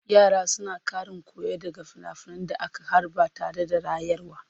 Yara suna ƙarin koyo daga finafinan da aka harba tare da rayarwa.